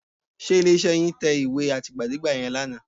Ṣé ilé-iṣẹ́ yín tẹ ìwé àtìgbàdégbà yẹn lánàá?